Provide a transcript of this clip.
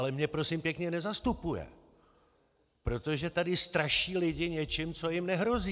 Ale mě prosím pěkně nezastupuje, protože tady straší lidi něčím, co jim nehrozí.